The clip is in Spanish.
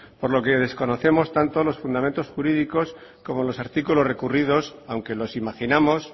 por lo que desconocemos los fundamentos jurídicos como los artículos recurridos aunque los imaginamos